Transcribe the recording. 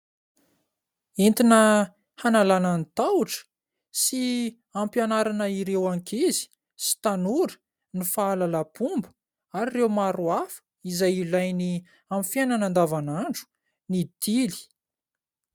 Entina hanalana ny tahotra sy hampianarana ireo ankizy sy tanora ny fahalalam-pomba ary ireo maro hafa izay ilainy amin'ny fiainana andavanandro ny tily.